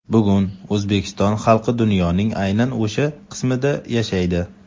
Bugun O‘zbekiston xalqi dunyoning aynan o‘sha qismida yashaydi.